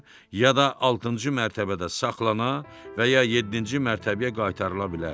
ya da altıncı mərtəbədə saxlanıla və ya yeddinci mərtəbəyə qaytarıla bilərdi.